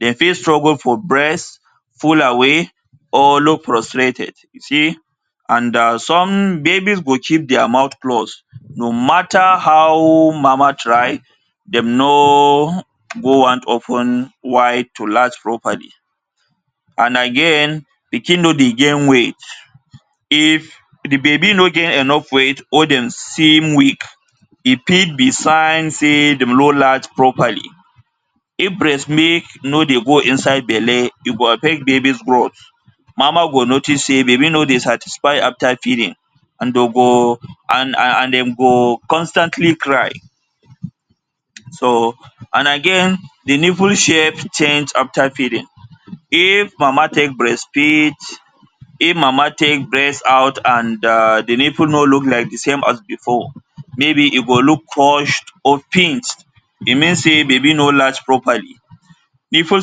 Dem fit struggle for breast full away or low frostrated. You see! And some babies go keep their mouth closed no matter how mama try dem no go wan to open wide to latch properly and again pikin no dey gain weight. If the baby no gain enough weight or dem seem weak e fit be sign say dem no latch properly. If breast milk no dey go inside belle e go affect baby growth. Mama go notice say baby no dey satisfied after feeding and dem go and dem go constantly cry. So, and again the nipple shape change after feeding. If mama take breastfeed, if mama take breast out and um the nipple no look as the same as before maybe e go look push or pinched e mean say baby no latch properly. Nipple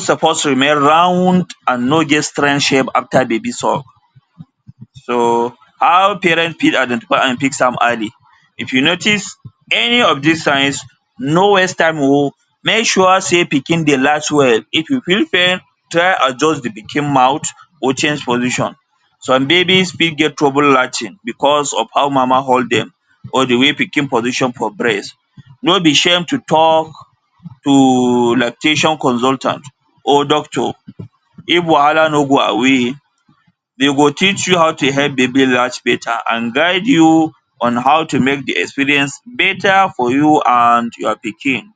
suppose remain round and no get strange shape after baby suck. So, how parent fit identify and fix am early. So, if you notice any of dis signs no waste time oh! Make sure say pikin dey latch well. If you feel pain try adjust the pikin mouth or change position. Some babies fit get trouble latching because of how mama hold dem or the way pikin position for breast. No be shame to talk to lactation consultant or doctor if wahala no go away. Dem go teach you how to help baby latch better and guide you on how to make the experience better for you and your pikin.